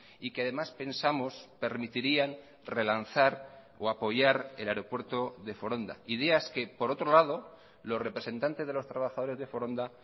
y que además pensamos permitirían relanzar o apoyar el aeropuerto de foronda ideas que por otro lado los representantes de los trabajadores de foronda